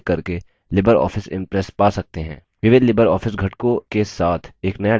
विविध LibreOffice घटकों के साथ एक नया dialog box खुलता है